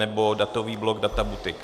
nebo datový blok Data Boutique.